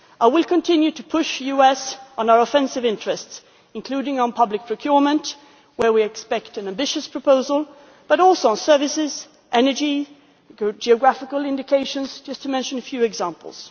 I will continue to push the US on our offensive interests, including on public procurement, where we expect an ambitious proposal, but also on services, energy and geographical indications, to mention just a few examples.